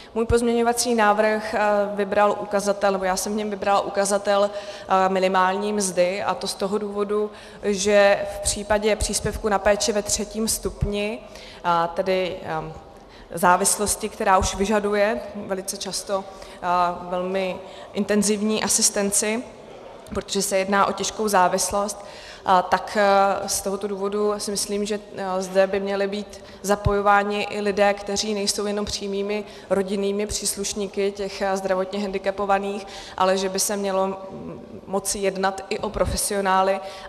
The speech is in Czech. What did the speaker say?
Můj pozměňovací návrh vybral ukazatel, nebo já jsem v něm vybrala ukazatel minimální mzdy, a to z toho důvodu, že v případě příspěvku na péči ve třetím stupni, tedy závislosti, která už vyžaduje velice často velmi intenzivní asistenci, protože se jedná o těžkou závislost, tak z tohoto důvodu si myslím, že zde by měli být zapojováni i lidé, kteří nejsou jenom přímými rodinnými příslušníky těch zdravotně hendikepovaných, ale že by se mělo moci jednat i o profesionály.